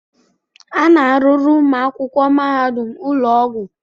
A na-arụrụ ụmụ akwụkwọ mahadum ụlọ ọgwụ.